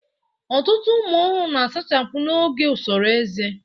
Ọtụtụ ụmụ ọhụrụ na-asachapụ n'oge usoro ezé